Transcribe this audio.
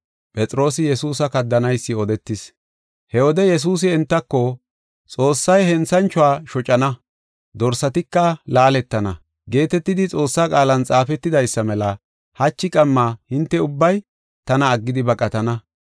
He wode Yesuusi entako, “ ‘Xoossay henthanchuwa shocana dorsatika laaletana’ geetetidi Xoossa qaalan xaafetidaysa mela hachi qamma hinte ubbay tana aggidi baqatana.